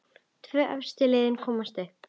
Tvö efstu liðin komast upp.